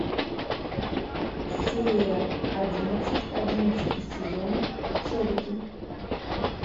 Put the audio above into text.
серия одиннадцать одиннадцатый сезон чобиты